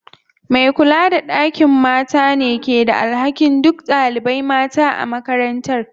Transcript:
Me kula da ɗakin mata ne ke da alhakin duk ɗaliban mata a makarantar.